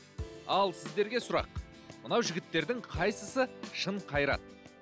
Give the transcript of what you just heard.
ал сіздерге сұрақ мынау жігіттердің қайсысы шын қайрат